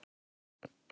Hún er stirðnuð.